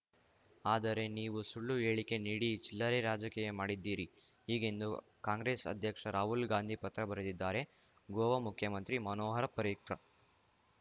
ಆದರೆ ನೀವು ಸುಳ್ಳು ಹೇಳಿಕೆ ನೀಡಿ ಚಿಲ್ಲರೆ ರಾಜಕೀಯ ಮಾಡಿದ್ದೀರಿ ಹೀಗೆಂದು ಕಾಂಗ್ರೆಸ್‌ ಅಧ್ಯಕ್ಷ ರಾಹುಲ್‌ ಗಾಂಧಿ ಪತ್ರ ಬರೆದಿದ್ದಾರೆ ಗೋವಾ ಮುಖ್ಯಮಂತ್ರಿ ಮನೋಹರ್‌ ಪರ್ರಿಕರ್‌